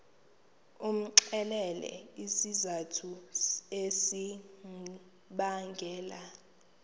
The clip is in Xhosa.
umxelele izizathu ezibangela